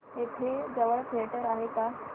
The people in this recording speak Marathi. इथे जवळ थिएटर आहे का